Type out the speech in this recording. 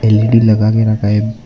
L E D लागा के रखा है।